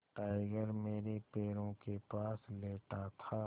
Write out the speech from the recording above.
tiger मेरे पैरों के पास लेटा था